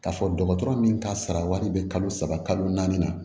K'a fɔ dɔgɔtɔrɔ min ka sara wari bɛ kalo saba kalo naani na